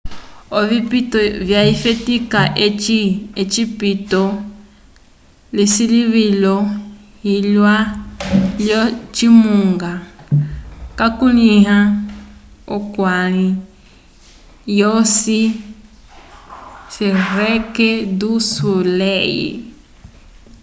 ovipito vyafetika eci ocipito lyesilivilo lyalwa lyo cimunga cakulĩhiwa k'olwali lwosi cirrque du soleil